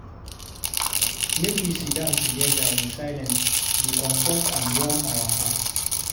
Make we dey sidon together in silence dey comfort and warm our hearts.